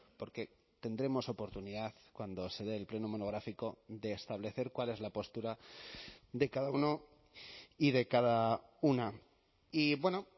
porque tendremos oportunidad cuando se dé el pleno monográfico de establecer cuál es la postura de cada uno y de cada una y bueno